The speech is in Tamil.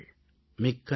மிக்க நன்றி